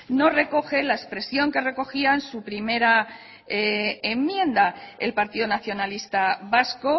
no recoge la expresión que recogía en su primera enmienda el partido nacionalista vasco